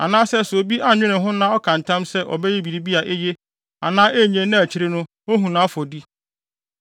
anaa sɛ obi annwene ho na ɔka ntam sɛ ɔbɛyɛ biribi a eye anaa ennye na akyiri no ohu nʼafɔdi;